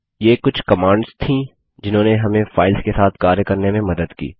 ये कुछ कमांड्स थी जिन्होंने हमें फाइल्स के साथ कार्य करने में मदद की